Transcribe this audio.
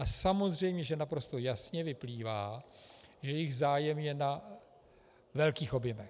A samozřejmě že naprosto jasně vyplývá, že jejich zájem je na velkých objemech.